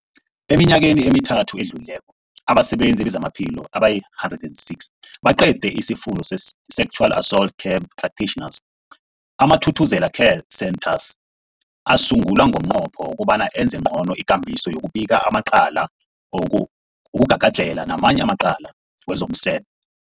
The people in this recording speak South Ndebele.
Eminyakeni emithathu edluleko, abasebenzi bezamaphilo abali-106 baqede isiFundo se-Sexual Assault Care Practitioners. AmaThuthuzela Care Centres asungulwa ngomnqopho wokobana enze ngcono ikambiso yokubika amacala woku wokugagadlhela namanye amacala wezomseme.